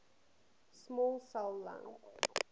small cell lung